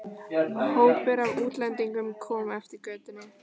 Hópur af útlendingum kom eftir götunni.